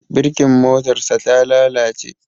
Birkin motarsa ta lalace.